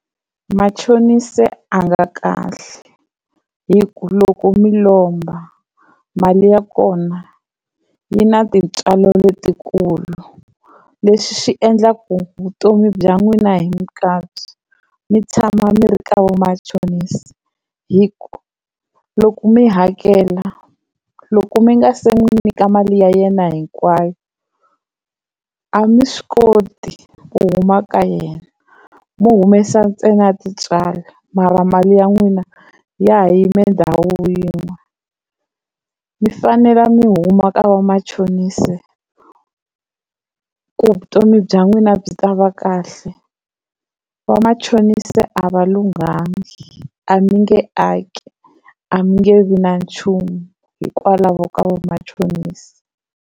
Machonisi a nga kahle hi ku loko mi lomba mali ya kona yi na tintswalo letikulu, leswi swi endlaka ku vutomi bya n'wina hikwabyo mi tshama mi ri ka va machonisa hi ku loko mi hakela loko mi nga se n'wi nyika mali ya yena hinkwayo a mi swi koti ku huma ka yena mo humesa ntsena tintswalo mara mali ya n'wina ya ha yimi ndhawu yin'we. Mi fanele mi huma ka vamachonisi ku vutomi bya n'wina byi ta va kahle vamachonisi a va lunghangi a mi nge aki a mi nge vi na nchumu hikwalaho ka vamachonisi.